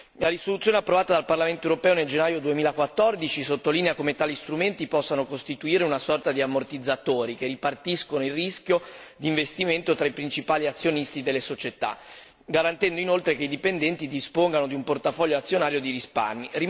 La risoluzione approvata dal Parlamento europeo nel gennaio 2014 sottolinea come tali strumenti possano costituire una sorta di ammortizzatori che ripartiscono il rischio investimento tra i principali azionisti delle società, garantendo inoltre che i dipendenti dispongano di un portafoglio azionario di risparmi.